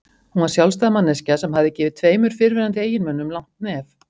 Hún var sjálfstæð manneskja sem hafði gefið tveimur fyrrverandi eiginmönnum langt nef.